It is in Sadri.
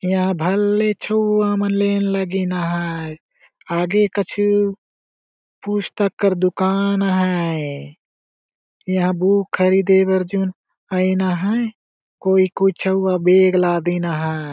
यहाँ भले छऊआमन लेन लगिना अहाय आगे कछु पुस्तककर दुकान अहाय एहा बुक खरीदे बर जून अइन अहाय कोई -कोई छउआ बेग लादीन अहाय।